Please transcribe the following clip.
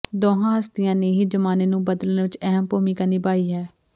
ਦੋਹਾਂ ਹਸਤੀਆਂ ਨੇ ਹੀ ਜ਼ਮਾਨੇ ਨੂੰ ਬਦਲਣ ਵਿਚ ਅਹਿਮ ਭੂਮਿਕਾ ਨਿਭਾਈ ਹੈ